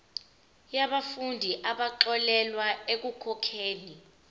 yabafundi abaxolelwa ekukhokheni